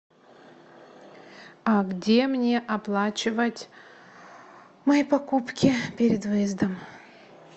а где мне оплачивать мои покупки перед выездом